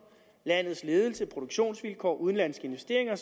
landets ledelse produktionsvilkår udenlandske investeringer og